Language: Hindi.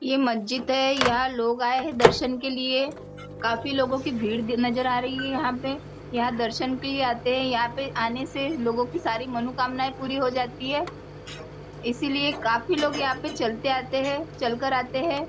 यह मस्जिद है यहाँ लोग आए है दर्शन के लिए काफ़ी लोगो की भीड़ भी नज़र आ रही है यहाँ पे यहाँ दर्शन के लिए आते है यहाँ पे आने से लोंगो की सारी मनोकामना पूरी हो जाती है इसलिए काफ़ी लोग यहाँ पे चलते आते है चल कर आते है।